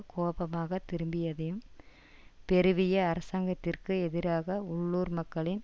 கோபமாக திரும்பியதையும் பெருவிய அரசாங்கத்திற்கு எதிராக உள்ளூர் மக்களின்